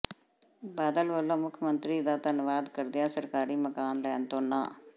ਬਾਦਲ ਵੱਲੋਂ ਮੁੱਖ ਮੰਤਰੀ ਦਾ ਧੰਨਵਾਦ ਕਰਦਿਆਂ ਸਰਕਾਰੀ ਮਕਾਨ ਲੈਣ ਤੋਂ ਨਾਂਹ